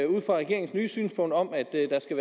ud fra regeringens nye synspunkt om